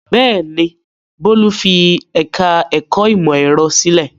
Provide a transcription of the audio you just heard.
Bẹ́ẹ̀ ni, Bólú fi ẹ̀ka-ẹ̀kọ́ ìmọ̀-ẹ̀rọ sílẹ̀.